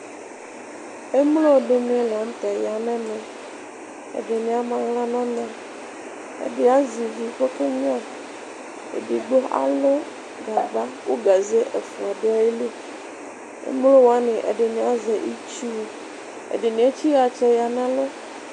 emlo dini latɛ yanɛ mɛ ɛdini ama aɣla nu ona ɛdini azivi kɔkenyoa edigbo alu gagba ku gaze efoa dunu ayili Emlo woani ɛdini azɛ itsu ɛdini etchi yatsɛ ya nɛ ɛlu